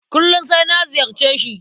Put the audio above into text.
Kullum sai na ziyarce shi.